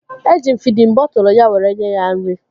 Eji m fidin bọtụlu ya were nye ya nri